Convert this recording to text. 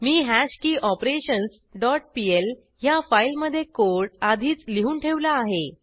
मी hash key operations dot pl ह्या फाईलमधे code आधीच लिहून ठेवला आहे